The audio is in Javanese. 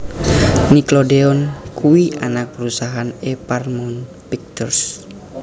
Nickelodeon kuwi anak perusahaan e Paramount Pictures